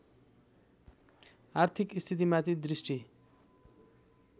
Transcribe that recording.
आर्थिक स्थितिमाथि दृष्टि